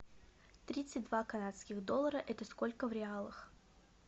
тридцать два канадских доллара это сколько в реалах